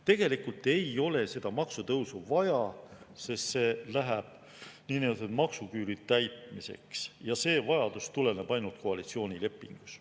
Tegelikult ei ole seda maksutõusu vaja, sest see läheb niinimetatud maksuküüru täitmiseks ja see vajadus tuleneb ainult koalitsioonilepingust.